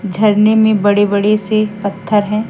झरने में बड़े-बड़े से पत्थर हैं।